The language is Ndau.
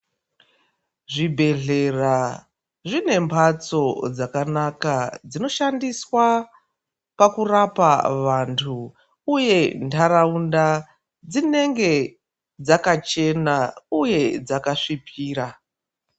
Zvibhedhlera zvine mhatso dzakanaka dzinoshandiswa pakurapa vantu, uye ntaraunda dzinenge dzakachena, uye dzakasvipira.